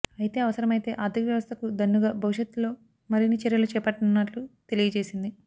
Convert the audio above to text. అయితే అవసరమైతే ఆర్థిక వ్యవస్థకు దన్నుగా భవిష్యత్లో మరిన్ని చర్యలు చేపట్టనున్నట్లు తెలియజేసింది